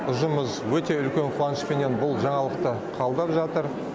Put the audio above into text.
ұжымымыз өте үлкен қуанышпенен бұл жаңалықты қабылдап жатыр